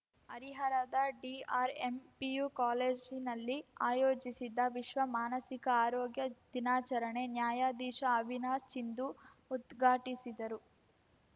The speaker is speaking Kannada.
ಹರಿಹರದ ಡಿಆರ್‌ಎಂ ಪಿಯು ಕಾಲೇಜಿನಲ್ಲಿ ಆಯೋಜಿಸಿದ್ದ ವಿಶ್ವ ಮಾನಸಿಕ ಆರೋಗ್ಯ ದಿನಾಚರಣೆ ನ್ಯಾಯಾಧೀಶ ಅವಿನಾಶ್‌ ಚಿಂದು ಉದ್ಘಾಟಿಸಿದರು